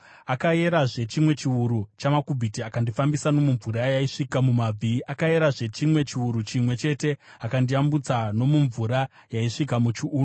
Akayerazve chimwe chiuru chamakubhiti akandifambisa nomumvura yaisvika mumabvi. Akayerazve chimwe chiuru chimwe chete akandiyambutsa nomumvura yaisvika muchiuno.